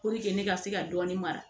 ne ka se ka dɔɔnin mara